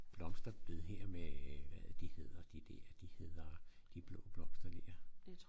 Blomsterbed her med øh hvad er det de hedder de dér de hedder de blå blomster dér